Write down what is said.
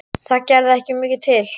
Það gerði ekki mikið til.